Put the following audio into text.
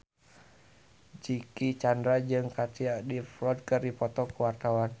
Dicky Chandra jeung Katie Dippold keur dipoto ku wartawan